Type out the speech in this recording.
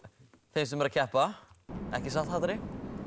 þeim sem eru að keppa ekki satt